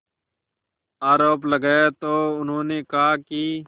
आरोप लगाया तो उन्होंने कहा कि